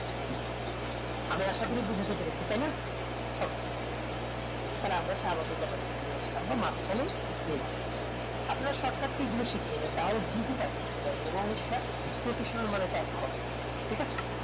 আমি আশা করি বোঝাতে পেরেছি তাইনা থালে আমরা স্বাভাবিক আবার ফিরে আসলাম আমরা মাঝ খানে নিলাম আপনারা shotcut key জিনিস গুলো শিখে নেবেন তাহলে দ্রুত type করতে পারবেন এবং সেটা professional ভাবে type হবে ঠিক আছে